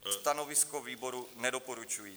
Stanovisko výboru nedoporučující.